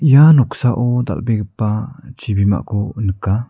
ia noksao dal·begipa chibimako nika.